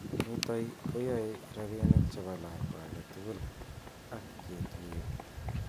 Nitok keyaei robinik chebo lakwa age tugul ak ketuyo.